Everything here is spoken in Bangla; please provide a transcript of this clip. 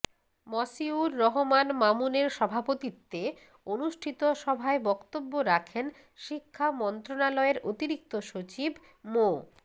মসিউর রহমান মামুনের সভাপতিত্বে অনুষ্ঠিত সভায় বক্তব্য রাখেন শিক্ষা মন্ত্রণালয়ের অতিরিক্ত সচিব মো